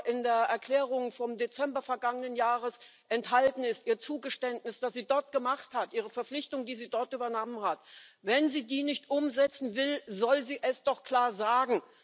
in der Erklärung vom Dezember vergangenen Jahres enthalten ist, ihr Zugeständnis, das sie dort gemacht hat, ihre Verpflichtung, die sie dort übernommen hat, wenn sie die nicht umsetzen will, soll sie es doch klar sagen.